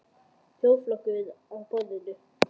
Þjóðarflokkurinn að borðinu?